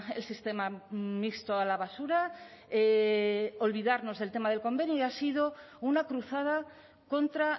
el sistema mixto a la basura olvidarnos del tema del convenio y ha sido una cruzada contra